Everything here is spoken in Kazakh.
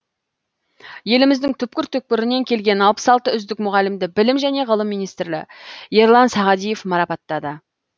еліміздің түкпір түкпірінен келген алпыс алты үздік мұғалімді білім және ғылым министрі ерлан сағадиев марапаттады